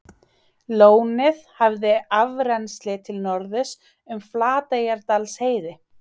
Lónið hafði afrennsli til norðurs um Flateyjardalsheiði.